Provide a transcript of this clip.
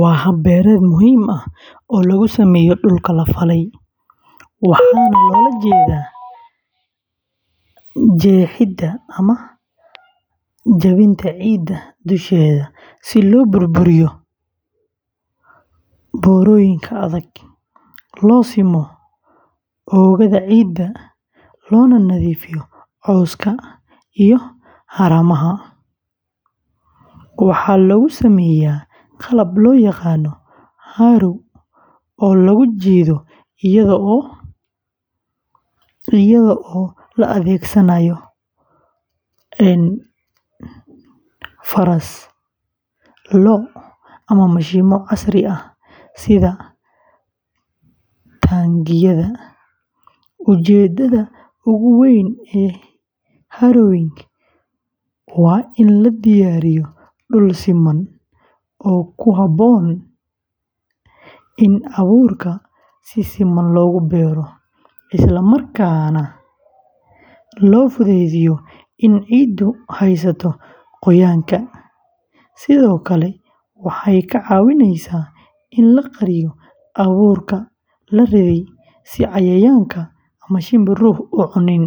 Waa hab beereed muhiim ah oo lagu sameeyo dhulka la falay, waxaana loola jeedaa jeexidda ama jabinta ciidda dusheeda si loo burburiyo burooyinka adag, loo simo oogada ciidda, loona nadiifiyo cawska iyo haramaha. Waxaa lagu sameeyaa qalab loo yaqaan harrow oo lagu jiido iyadoo la adeegsanayo faras, lo', ama mishiinno casri ah sida taangiyada. Ujeedada ugu weyn ee harrowing waa in la diyaariyo dhul siman oo ku habboon in abuurka si siman loogu beero, isla markaana loo fududeeyo in ciiddu haysato qoyaanka. Harrowing sidoo kale waxay ka caawisaa in la qariyo abuurka la riday, si cayayaan ama shimbiruhu u cunin,